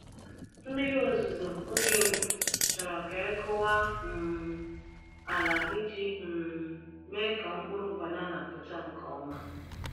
Mmiri ozuzo oge mbụ chọrọ ka e kụwa um ala iji um mee ka mkpụrụ banana pụta nke ọma.